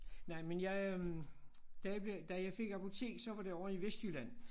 Nej men jeg øh da jeg bliver da jeg fik apotek så var det ovre i Vestjylland